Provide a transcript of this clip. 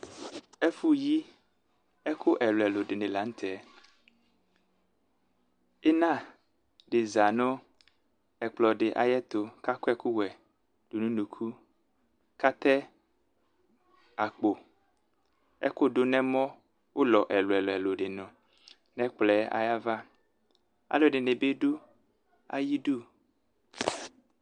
ɛfũ yi ɛku ɛluɛlu dini la ntɛ ïna diza nu ɛkplɔ di ayetu kakɔ ɛkuwɛ dunu unuku katɛ akpo ɛkudu nɛmɔ ũlɔ eluelũelũ dinu n ɛkplɔe ayava aluedini bi du ayidu